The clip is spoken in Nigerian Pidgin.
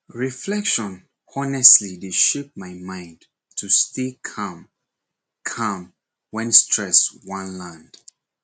reflection honestly dey shape my mind to stay calm calm when stress wan land